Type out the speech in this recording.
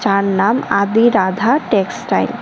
আর নাম আদি রাধা টেক্সটাইল ।